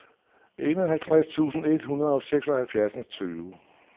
enoghalvtreds tusind et hundrede og seksoghalvfems